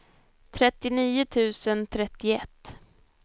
trettionio tusen trettioett